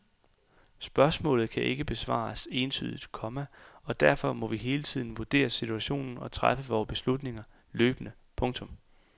Spørgsmålet kan ikke besvares entydigt, komma og derfor må vi hele tiden vurdere situationen og træffe vore beslutninger løbende. punktum